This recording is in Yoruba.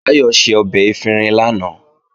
Báyọ̀ ṣe ọbẹ̀ efinrin lánàá